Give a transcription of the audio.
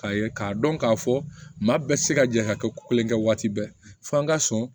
K'a ye k'a dɔn k'a fɔ maa bɛɛ tɛ se ka jɛ ka kɛ ko kelen kɛ waati bɛɛ f'an ka sɔn